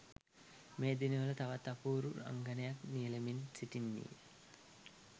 මේ දිනවල තවත් අපූරු රංගනයක නියැලෙමින් සිටින්නීය.